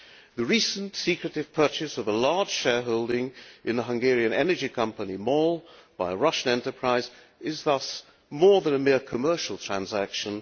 The recent secretive purchase of a large shareholding in the Hungarian energy company MOL by a Russian enterprise is thus more than a mere commercial transaction